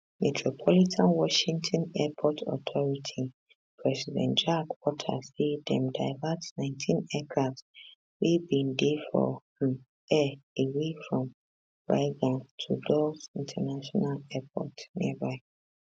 metropolitan washington airport authority president jack potter say dem divert 19 aircrafts wey bin dey for um air away from reagan to dulles international airport nearby